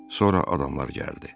Sonra adamlar gəldi.